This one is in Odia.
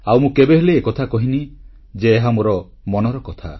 ଆଉ ମୁଁ କେବେହେଲେ ଏକଥା କହିନି ଯେ ଏହା ମୋ ମନର କଥା